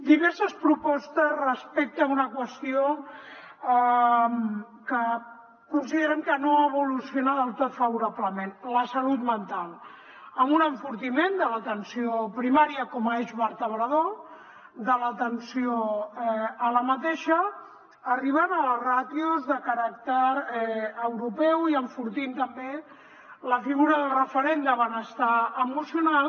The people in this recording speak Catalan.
diverses propostes respecte a una qüestió que considerem que no evoluciona del tot favorablement la salut mental amb un enfortiment de l’atenció primària com a eix vertebrador de l’atenció a aquesta arribant a les ràtios de caràcter europeu i enfortint també la figura del referent de benestar emocional